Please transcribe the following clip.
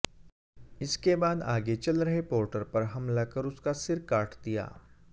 इसके बाद आगे चल रहे पोर्टर पर हमला कर उसका सिर काट दिया